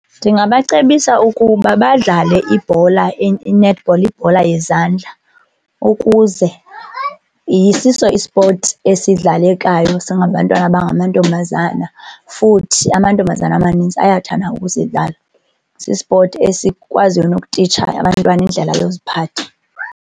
Ndingabacebisa ukuba badlale ibhola i-netball, ibhola yezandla ukuze siso ispothi esidlalekayo singabantwana abangamantombazana futhi amantombazana amanintsi ayathanda ukusidlala. Sispothi esikwaziyo nokutitsha abantwana indlela yoziphatha.